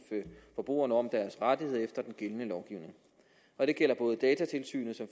forbrugerne om deres rettigheder efter den gældende lovgivning det gælder både datatilsynet som